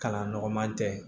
Kalan nɔgɔman tɛ